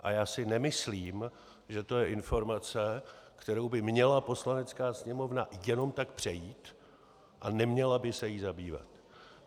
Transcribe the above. A já si nemyslím, že to je informace, kterou by měla Poslanecká sněmovna jenom tak přejít a neměla by se jí zabývat.